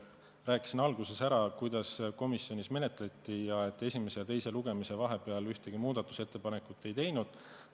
Ma rääkisin alguses ära, kuidas komisjonis menetleti ja et esimese ja teise lugemise vahel ühtegi muudatusettepanekut ei tehtud.